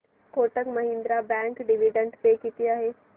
Kotak Mahindra bank dividend pay किती आहे